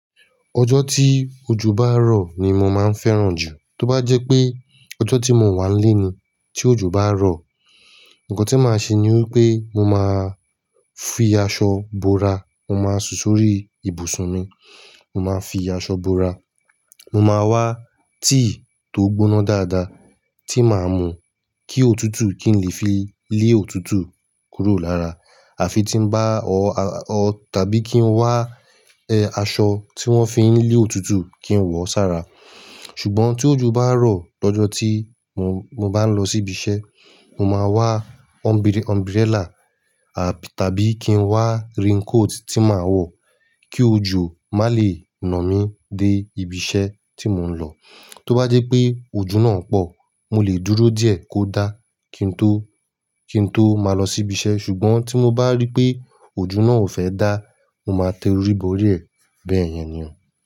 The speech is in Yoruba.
Ọjọ́ tí ojú bá rọ̀ ni mo máa ń fẹ́ràn jù. Tó bá jẹ́ pé ọjọ́ tí mo wà nle ní tí òjò bá rọ̀, nǹkan tí màá ṣe ni wípé mo máa fi aṣọ bora mo máa sùn sórí ibùsùn mi. Mo máa fi aṣọ bora, mo máa wá tíì tó gbóná dáadáa tí màá mú kí òtútù kí n lè fi lé òtútù kúrò lára. À fi tí ń bá ọ́ tàbí kí n wá aṣọ tí wón fi ń lé òtútù kí n wọ̀ sára. Ṣùgbọ́n tí òjò bá rọ̀ lọ́jọ́ tí mo bá ń lọ sí ibi iṣẹ́, mo máa wá umbrella tàbí kí n wá raincoat tí màá wọ̀ kí ojú má lè nà mí dé ibi iṣẹ́ tí mò ń lọ. Tó bá jẹ́ pé ojú náà pọ̀, mo lè dúró díẹ̀ kó dá kí n tó, kí n tó máa lọ sí ibi iṣẹ́. Ṣùgbọ́n tí mo bá rí pé ojú náà ò fẹ́ dá, mo máa tẹ orí borí ẹ̀ bẹ́ẹ̀ yẹn nìyẹn.